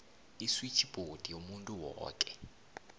iswitjhibhodi yomuntu woke